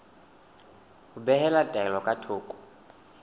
ho behela taelo ka thoko